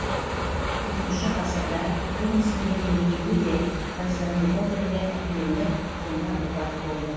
төртінші ғасырда бұл мүсіндердің екеуі де константинопольге әкелініп сонда опат болды